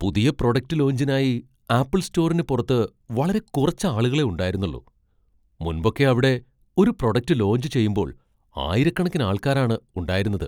പുതിയ പ്രൊഡക്റ്റ് ലോഞ്ചിനായി ആപ്പിൾ സ്റ്റോറിന് പുറത്ത് വളരെ കുറച്ച് ആളുകളെ ഉണ്ടായിരുന്നുള്ളൂ, മുൻപൊക്കെ അവിടെ ഒരു പ്രൊഡക്റ്റ് ലോഞ്ച് ചെയ്യുമ്പോൾ ആയിരക്കണക്കിന് ആൾക്കാരാണ് ഉണ്ടായിരുന്നത്.